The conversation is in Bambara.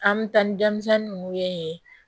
An bɛ taa ni denmisɛnnin ninnu ye